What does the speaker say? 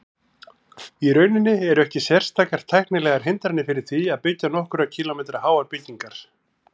Í rauninni eru ekki sérstakar tæknilegar hindranir fyrir því að byggja nokkurra kílómetra háar byggingar.